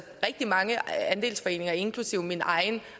rigtig mange andelsforeninger inklusive min egen